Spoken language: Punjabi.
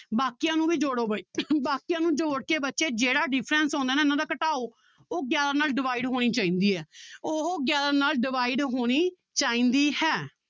ਬਾਕੀਆਂ ਨੂੰ ਵੀ ਜੋੜੋ ਬਾਈ ਬਾਕੀਆਂ ਨੂੰ ਜੋੜ ਕੇ ਬੱਚੇ ਜਿਹੜਾ difference ਆਉਂਦਾ ਨਾ ਇਹਨਾਂ ਦਾ ਘਟਾਓ ਉਹ ਗਿਆਰਾਂ ਨਾਲ divide ਹੋਣੀ ਚਾਹੀਦੀ ਹੈ ਉਹ ਗਿਆਰਾਂ ਨਾਲ divide ਹੋਣੀ ਚਾਹੀਦੀ ਹੈ।